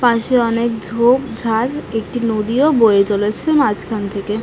পাশে অনেক ঝোপঝাড় একটি যদিও বয়ে চলেছে মাঝখান থেকে।